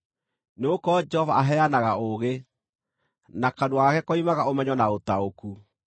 Nĩgũkorwo Jehova aheanaga ũũgĩ, na kanua gake koimaga ũmenyo na ũtaũku.